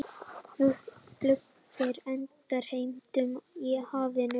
Flugriti endurheimtur í hafinu